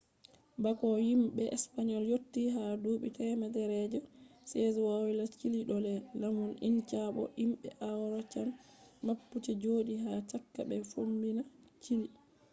bako himbe spain yotti ha duubi temere je 16th woyla chile do les lamu inca bo himbe araucan mapuche jodi ha chaka be fombina chile